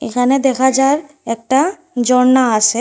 এখানে দেখা যার একটা জর্ণা আসে।